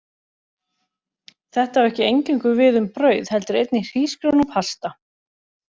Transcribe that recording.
Þetta á ekki eingöngu við um brauð, heldur einnig hrísgrjón og pasta.